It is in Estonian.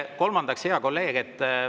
Kolmandaks, hea kolleeg.